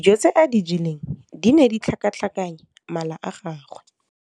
Dijô tse a di jeleng di ne di tlhakatlhakanya mala a gagwe.